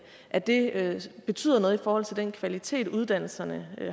at det betyder noget for den kvalitet uddannelserne